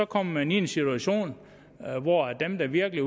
kommer man i en situation hvor dem der virkelig